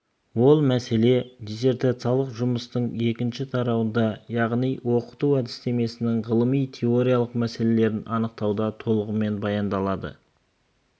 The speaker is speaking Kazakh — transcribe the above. ол мәселе диссертациялық жұмыстың екінші тарауында яғни оқыту әдістемесінің ғылыми теориялық мәселелерін анықтауда толығымен баяндалады